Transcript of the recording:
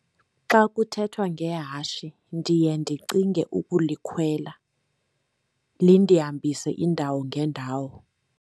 Xa kuthethwa ngehashe ndiye ndicinge ukulikhwela, lindihambise iindawo ngeendawo.